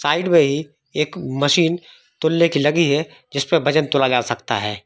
एक मशीन तुले की लगी है जिसपे वजन तोला जा सकता है।